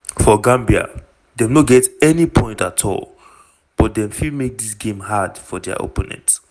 for gambia dem no get any point at all but dem fit make dis game hard for dia opponent.